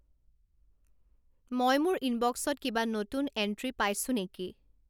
মই মোৰ ইনবক্সত কিবা নতুন এণ্ট্ৰি পাইছো নেকি